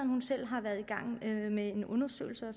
hun selv har været i gang med en undersøgelse og